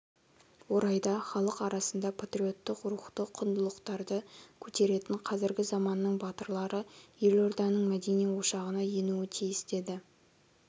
орайда халық арасында патриоттық рухты құндылықтардыкөтеретін қазіргі заманның батырлары елорданың мәдени ошағына енуі тиіс деді